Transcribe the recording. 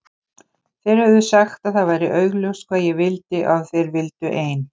Þeir höfðu sagt að það væri augljóst hvað ég vildi og að þeir vildu ein